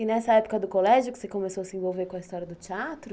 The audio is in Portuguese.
E nessa época do colégio que você começou a se envolver com a história do teatro?